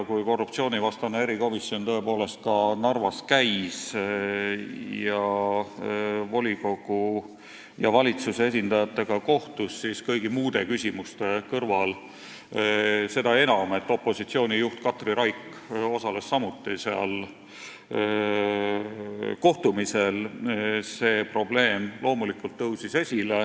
Kui korruptsioonivastane erikomisjon Narvas käis ning volikogu ja valitsuse esindajatega kohtus, siis kõigi muude küsimuste kõrval see probleem loomulikult tõusis esile, seda enam, et opositsiooni juht Katri Raik osales samuti sellel kohtumisel.